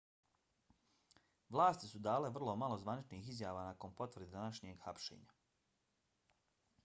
vlasti su dale vrlo malo zvaničnih izjava nakon potvrde današnjeg hapšenja